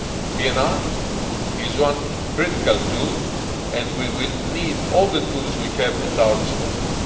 PNR is one critical tool, and we will need all the tools we have at our disposal.